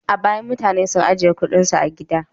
A baya, mutane sun ajiye kuɗinsu a gida.